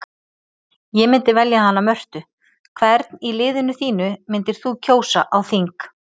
Ég myndi velja hana Mörtu Hvern í liðinu þínu myndir þú kjósa á þing?